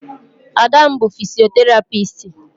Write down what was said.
Ada m bu fisoterapisti